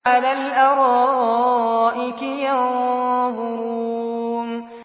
عَلَى الْأَرَائِكِ يَنظُرُونَ